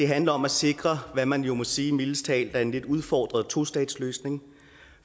handler om at sikre hvad man jo må sige mildest talt er en lidt udfordret tostatsløsning